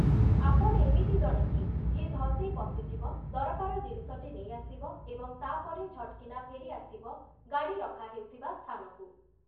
ଆପଣ ଏମିତି ଜଣେ କି, ଯିଏ ଧସେଇ ପଶିଯିବ, ଦରକାର ଜିନିଷଟି ନେଇଆସିବ ଏବଂ ତାପରେ ଝଟ୍‌କିନା ଫେରିଆସିବ ଗାଡ଼ି ରଖାହେଉଥିବା ସ୍ଥାନକୁ ।